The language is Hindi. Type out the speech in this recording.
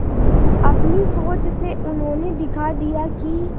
अपनी सोच से उन्होंने दिखा दिया कि